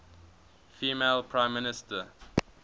female prime minister